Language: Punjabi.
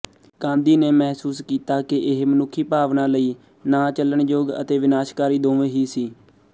ਗਾਂਧੀ ਨੇ ਮਹਿਸੂਸ ਕੀਤਾ ਕਿ ਇਹ ਮਨੁੱਖੀ ਭਾਵਨਾ ਲਈ ਨਾਚੱਲਣਯੋਗ ਅਤੇ ਵਿਨਾਸ਼ਕਾਰੀ ਦੋਵੇਂ ਹੀ ਸੀ